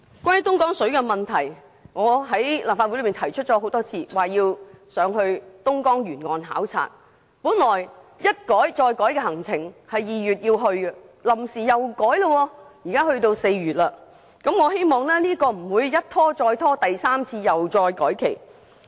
關於東江水的問題，我已曾在立法會內多次提出要前往東江沿岸考察，但行程一改再改，本來訂於2月起程，臨時卻要延遲至4月，但願行程不會一拖再拖，第三次改期。